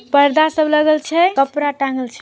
पर्दा सब लगल छै कपड़ा टांगल छै। -